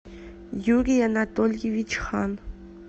юрий анатольевич хан